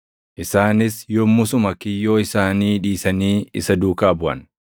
Isaanis yommusuma kiyyoo isaanii dhiisanii isa duukaa buʼan.